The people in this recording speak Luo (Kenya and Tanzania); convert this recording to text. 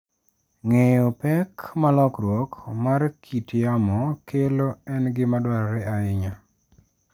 Ng'eyo pek ma lokruok mar kit yamo kelo en gima dwarore ahinya.